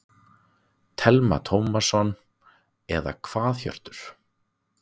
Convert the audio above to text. Telma Tómasson: Eða hvað Hjörtur?